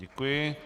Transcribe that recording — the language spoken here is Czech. Děkuji.